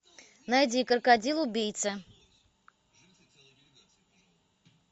найди крокодил убийца